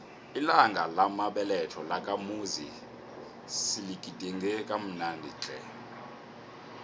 ilanga lamabeletho lakamuzi siligidinge kamnandi tle